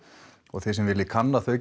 og þið sem viljið kanna þau